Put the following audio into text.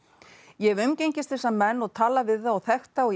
ég hef umgengist þessa menn og talað við þá og þekkt þá í